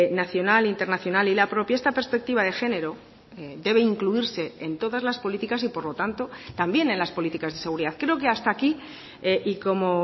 nacional internacional y la propia esta perspectiva de género debe incluirse en todas las políticas y por lo tanto también en las políticas de seguridad creo que hasta aquí y como